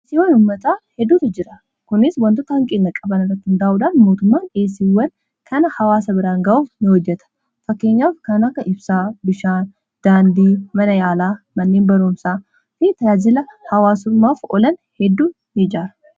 dhiiyeesiiwwan ummataa hedduutu jira kunis wantoota hanqinna qaban irrat uundaa'udhaan. Mootummaan dhiiyesiiwwan kana hawaasa biraan ga'uu ni hojjata. Fakkeenyaaf kana akka ibsaa bishaan daandii mana yaalaa manneen baruumsaa fi taraajila hawaasummaaf olan hedduu ni ijaara.